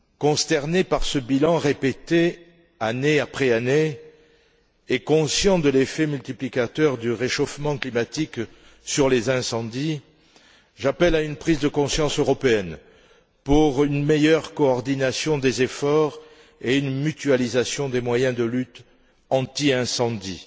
Consterné par ce bilan répété, année après année, et conscient de l'effet multiplicateur du réchauffement climatique sur les incendies, j'appelle à une prise de conscience européenne pour une meilleure coordination des efforts et une mutualisation des moyens de lutte anti incendie.